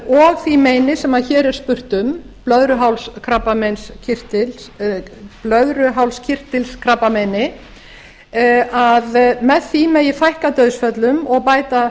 og því meini sem hér er spurt um blöðruhálskirtilskrabbameini að með því megi fækka dauðsföllum og bæta